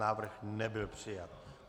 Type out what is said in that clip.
Návrh nebyl přijat.